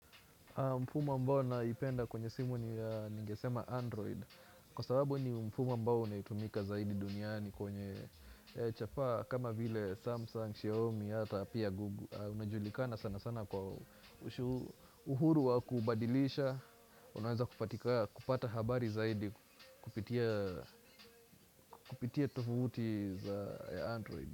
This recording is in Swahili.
Mfumo ambao naipenda kwenye simu ningesema Android, kwa sababu ni mfumo ambao unaitumika zaidi duniani kwenye chapaa kama vile Samsung, Xiaomi, ata pia Google, unajulikana sana sana kwa uhuru wa kubadilisha, unaweza kupata habari zaidi kupitia tovuti za Android.